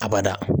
A bada